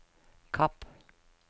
Kapp